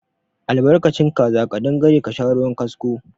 Albarkacin kaza ƙadangare ka sha ruwan kasko.